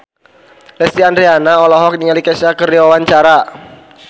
Lesti Andryani olohok ningali Kesha keur diwawancara